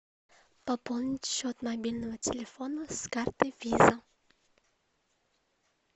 пополнить счет мобильного телефона с карты виза